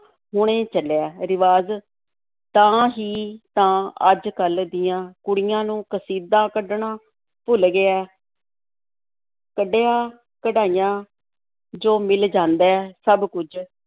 ਹੁਣੇ ਚੱਲਿਆ ਰਿਵਾਜ਼, ਤਾਂ ਹੀ ਤਾਂ ਅੱਜ-ਕੱਲ੍ਹ ਦੀਆਂ ਕੁੜੀਆਂ ਨੂੰ ਕਸੀਦਾ ਕੱਢਣਾ ਭੁੱਲ ਗਿਆ ਹੈ ਕੱਢਿਆ ਕਢਾਇਆ ਜੋ ਮਿਲ ਜਾਂਦਾ ਹੈ, ਸਭ ਕੁੱਝ